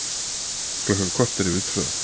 Klukkan korter yfir tvö